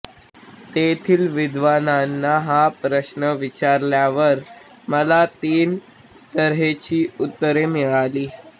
तेथिल विद्वानांना हा प्रश्न विचारल्यावर मला तीन तर्हेची उत्तरे मिळाली